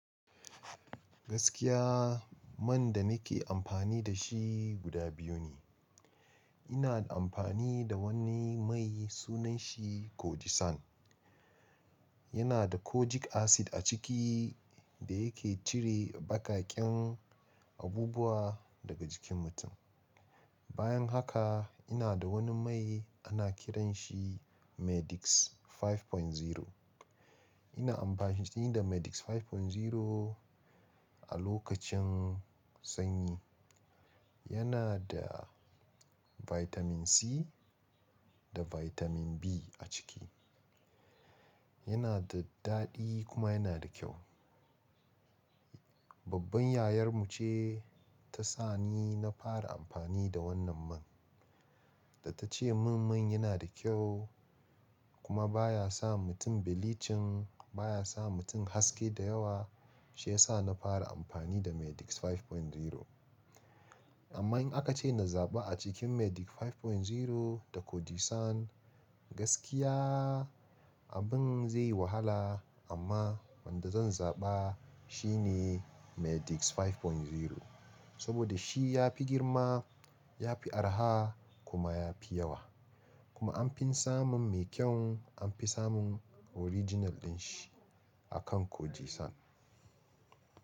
Gaskiya man da nake amfani da shi guda biyu ne. Ina amfani da wani mai sunanshi Kojie San. Yana da kojic acid a ciki da yake cire baƙaƙen abubuwa daga jikin mutum. Bayan haka ina da wani mai ana kiranshi Medix 5.0. Ina amfani da Medex 5.0 a lokacin sanyi. Yana da Vitamin C da Vitamin B a ciki. Yana da daɗi kuma yana da kyau. Babban yayar mu ce ta sa ni na fara amfani da wannan man da ta ce min man yana da kyau kuma baya sa mutum bleaching baya sa mutum haske da yawa, shi yasa na fara amfani da Medix 5.0. Amma in aka ce na zaɓa a cikin Medix 5.0 da Kojie San gaskiya abin zai yi wahala amma wanda zan zaɓa shi ne Medex 5.0. Saboda shi ya fi girma, ya fi araha kuma ya fi yawa. Kuma an fi samun mai kyau an fi samun original din shi akan Kojie San.